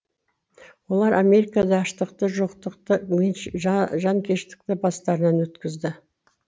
олар америкада аштықты жоқтықты жанкештілікті бастарынан өткізеді